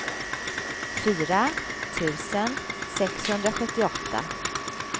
fyra tusen sexhundrasjuttioåtta